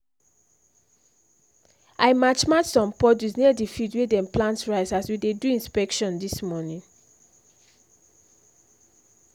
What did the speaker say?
i match match some puddles near the field wey them plant rice as we dey do inspection this morning